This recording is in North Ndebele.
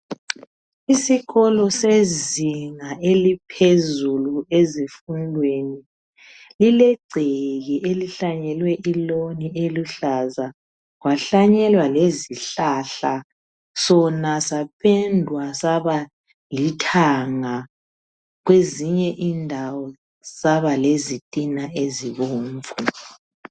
Isikolo sezinga eliphezulu ezifundweni lile gceke elihlanyelwe iloan eluhlaza , kwahlanyelwa lezihlahla. Sona saphendwa saba lithanga kwezinye indawo saba lezitina ezibomvu.